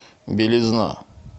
белизна